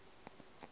ga se ba re raka